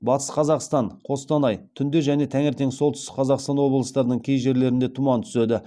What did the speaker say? батыс қазақстан қостанай түнде және таңертең солтүстік қазақстан облыстарының кей жерлерінде тұман түседі